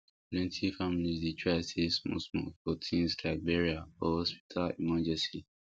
plenty families dey try save small small for things like burial or hospital emergency